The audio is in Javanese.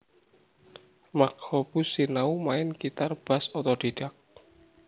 Mark Hoppus sinau main Gitar Bass otodidak